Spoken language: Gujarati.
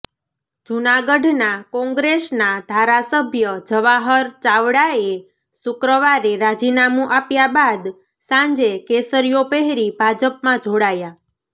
જૂનાગઢના કોંગ્રેસના ધારાસભ્ય જવાહર ચાવડાએ શુક્રવારે રાજીનામું આપ્યા બાદ સાંજે કેસરિયો પહેરી ભાજપમાં જોડાયા